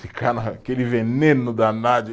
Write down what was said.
Ficar naquele veneno danado.